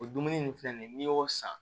O dumuni nin filɛ nin n'i y'o san